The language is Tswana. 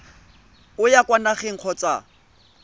o ya kwa nageng kgotsa